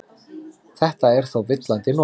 Þetta er þó villandi notkun.